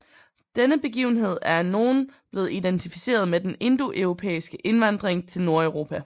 Denne begivenhed er af nogle blevet identificeret med den indoeuropæiske indvandring til Nordeuropa